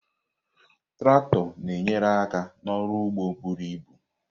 Traktọ na-enyere aka n'ọrụ ugbo buru ibu.